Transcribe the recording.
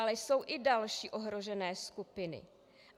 Ale jsou i další ohrožené skupiny.